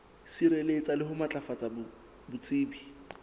sireletsa le ho matlafatsa botsebi